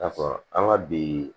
N'a fɔ an ka bi